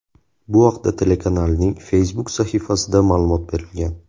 Bu haqda telekanalning Facebook sahifasida ma’lumot berilgan .